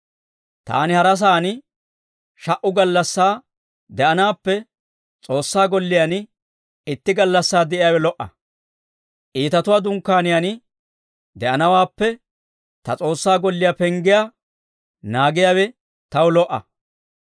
Taani hara sa'aan sha"u gallassaa de'anaappe S'oossaa golliyaan itti gallassaa de'iyaawe lo"a. Iitatuwaa dunkkaaniyaan de'anawaappe ta S'oossaa golliyaa penggiyaa naagiyaawe taw lo"a.